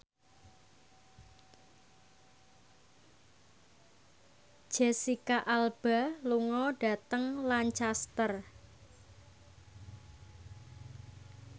Jesicca Alba lunga dhateng Lancaster